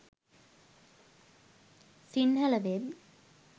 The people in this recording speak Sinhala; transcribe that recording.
sinhala web